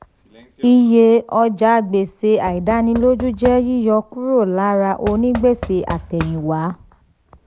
iye ọjàgbèsè àìdánilójú jẹ́ yíyọ kúrò lára onígbèsè àtèyìnwá.